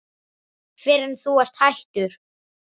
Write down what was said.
Fyrr en þú ert hættur.